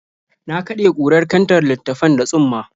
Na kaɗe kurar kantar littattafan da tsumma.